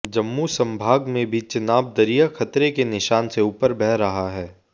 जम्मू संभाग में भी चिनाब दरिया खतरे के निशान से ऊपर बह रहा है